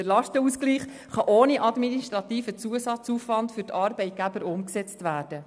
Der Lastenausgleich kann ohne administrativen Zusatzaufwand für die Arbeitgeber umgesetzt werden.